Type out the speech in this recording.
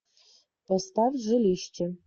поставь жилище